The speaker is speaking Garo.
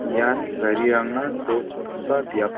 ian garirangna to chipgipa biap--